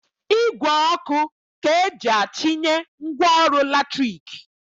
Igwe ọkụ ka eji achịnye ngwaọrụ latriki